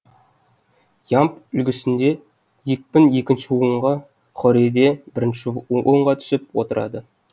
ямб үлгісінде екпін екінші буынға хорейде бірінші буынға түсіп отырады